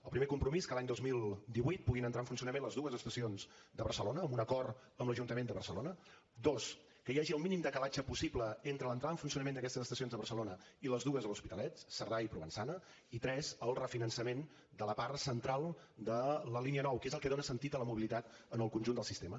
el primer compromís que l’any dos mil divuit puguin entrar en funcionament les dues estacions de barcelona amb un acord amb l’ajuntament de barcelona dos que hi hagi el mínim decalatge possible entre l’entrada en funcionament d’aquestes estacions de barcelona i les dues de l’hospitalet cerdà i provençana i tres el refinançament de la part central de la línia nou que és el que dona sentit a la mobilitat en el conjunt del sistema